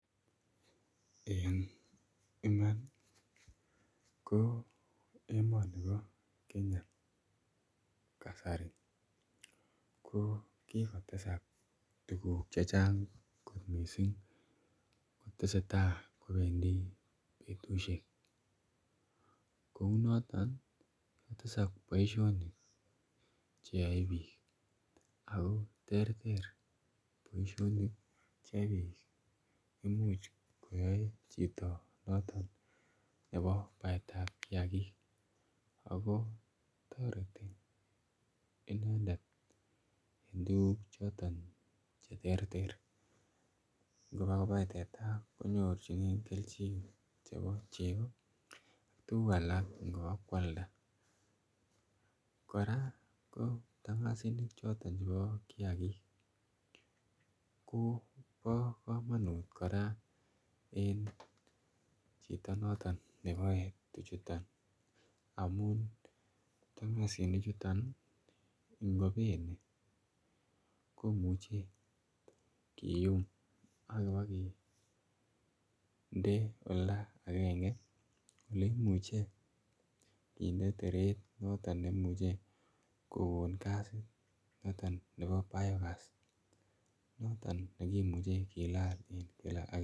En iman ko emoni bo Kenya kasari ko kokotesek tuguk chechang' missing kotesetai kowendi betusiek, kounoton kotesak boisionik cheyoe biik ako terter boisionik cheyoe biik imuch koyoe noton chito baetab kiagik ako toreti inendet en tuguk choton cheterter, ingobakobai teta konyorjigen keljin chebo chego, tuguk alak ng'obakoalda, kora kiptang'asinik choton chebo kiagik ii kobo komonut kora en chito noton neboe tuchuton, amun ptang'asini chuton ii ingobeni komuche kiyum ak ibokinde olda agenge oleimuche kinde teret noton neimuche kogon gasit noton nebo biogas noton nekimuche kilal en gila.